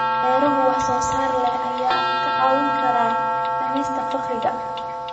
Beeraha wax soo saarka leh ayaa kaa caawin kara dhimista faqriga.